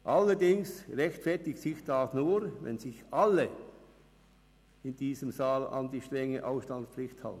Allerdings rechtfertigt sich das nur, wenn sich in diesem Saal an die strenge Ausstandspflicht halten.